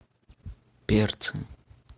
перцы